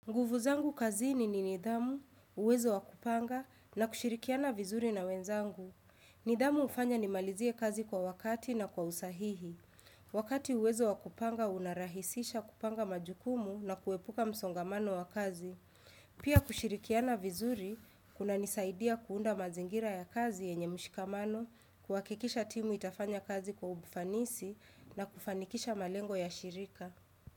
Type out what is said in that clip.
Nguvu zangu kazini ni nidhamu, uwezo wakupanga na kushirikiana vizuri na wenzangu. Nidhamu hufanya nimalizie kazi kwa wakati na kwa usahihi. Wakati uwezo wakupanga, unarahisisha kupanga majukumu na kuepuka msongamano wa kazi. Pia kushirikiana vizuri, kuna nisaidia kuunda mazingira ya kazi yenye mshikamano, kuhakikisha timu itafanya kazi kwa ufanisi na kufanikisha malengo ya shirika.